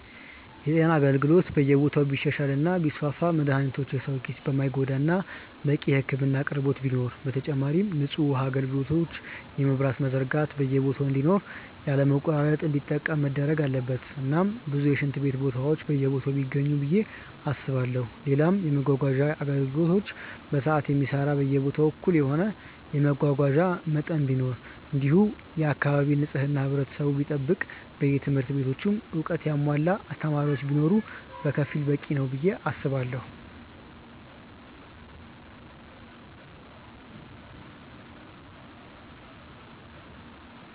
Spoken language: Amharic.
የጤና አገልግሎት በየቦታው ቢሻሻል እና ቢስፋፋ መድሃኒቶች የሰው ኪስ የማይጎዳ እናም በቂ የህክምና አቅርቦት ቢኖር፣ በተጨማሪም ንጹህ ውሃ አጋልግሎት የመብራትም መዘርጋት በየቦታ እንዲኖር ያለ መቆራረጥ እንዲጠቀም መደረግ አለበት እናም ብዙ የሽንት ቤት ቦታዎች በየቦታው ቢገኙ ብዬ አስባለው፣ ሌላም የመመጓጓዣ አገልግሎት በሰዓት የሚሰራ በየቦታው እኩል የሆነ የመጓጓዣ መጠን ቢኖር እንዲሁም የአካባቢ ንጽህና ህብረተሰቡ ቢጠብቅ በየትምህርት ቤቱም እውቀትን ያሙዋላ አስተማሪዎች ቢኖር በከፊሉ በቂ ነው ብዬ አስባለው።